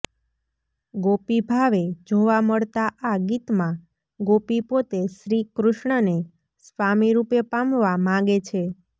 ગોપીભાવે જોવા મળતા આ ગીતમાં ગોપી પોતે શ્રીકૃષ્ણને સ્વામીરૂપે પામવા માગે છે